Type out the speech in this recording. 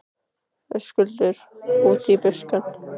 Höskuldur: Út í buskann?